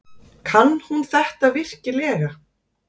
Kann hún þetta virkilega?